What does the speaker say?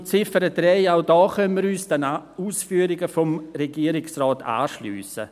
Zur Ziffer 3: Auch hier können wir uns den Ausführungen des Regierungsrates anschliessen.